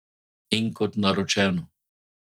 In kot naročeno.